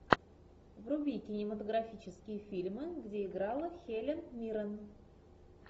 вруби кинематографические фильмы где играла хелен миррен